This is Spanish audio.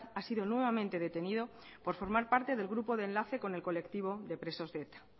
ha sido nuevamente detenido por formar parte del grupo de enlace con el colectivo de presos de eta